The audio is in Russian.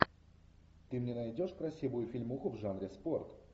ты мне найдешь красивую фильмуху в жанре спорт